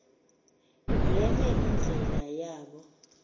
nye indlela yabo